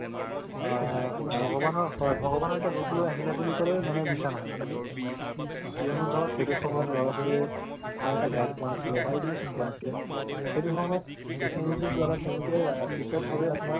আ ভগৱানৰ হয় ভগৱানৰ এটা ৰূপ লৈ আহিলে বুলি কলে মানে মিছা নহয় কথাটো কিয়নো ধৰক হেটো সময়য লৰা-ছোৱালিৰ ভালটা guide কৰাইছিলে বা education ত আছিলে সেইটো সময়ত technology ৰ দ্বাৰা তেওলোকে teacher বোৰে আপুনাৰ